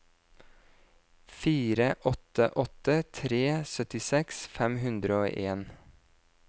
fire åtte åtte tre syttiseks fem hundre og en